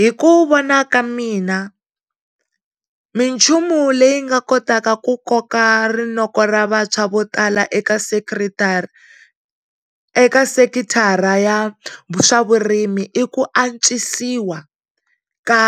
Hikuva vona ka mina minchumu leyi nga kotaka ku koka rinoko ra vantshwa vo tala ekasekiritara, eka sekithara ya swavurimi i ku antswisiwa ka